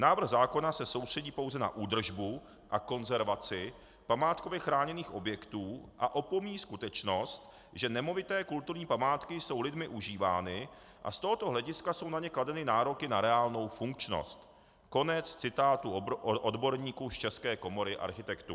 Návrh zákona se soustředí pouze na údržbu a konzervaci památkově chráněných objektů a opomíjí skutečnost, že nemovité kulturní památky jsou lidmi užívány a z tohoto hlediska jsou na ně kladeny nároky na reálnou funkčnost." Konec citátu odborníků z České komory architektů.